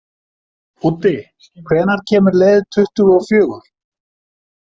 Úddi, hvenær kemur leið tuttugu og fjögur?